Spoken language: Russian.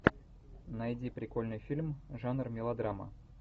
найди прикольный фильм жанр мелодрама